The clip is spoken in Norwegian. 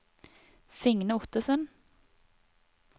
Signe Ottesen